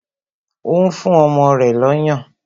O n fún ọmọ rẹ̀ lọ́yàn